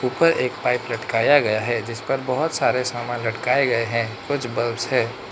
ऊपर एक पाइप लटकाया गया है जिस पर बहुत सारे सामान लटकाए गए हैं कुछ बल्ब्स हैं।